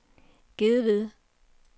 Gedved